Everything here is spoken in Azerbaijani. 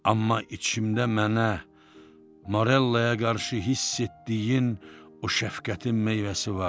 amma içimdə mənə Marellaya qarşı hiss etdiyin o şəfqətin meyvəsi var.